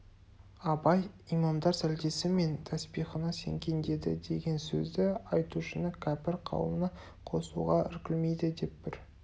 абай имамдар сәлдесі мен таспиғына сенген деді деген сөзді айтушыны кәпір қауымына қосуға іркілмейді деп бір